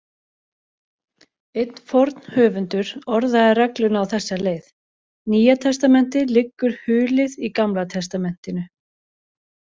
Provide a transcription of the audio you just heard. Einn forn höfundur orðaði regluna á þessa leið: Nýja testamentið liggur hulið í Gamla testamentinu.